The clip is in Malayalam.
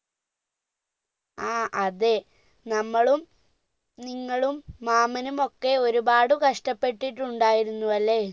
ആ അതെ നമ്മളും നിങ്ങളും മാമനും ഒക്കെ ഒരുപാട് കഷ്ടപെട്ടിട്ടുണ്ടായിരുന്നുഅല്ലെ അ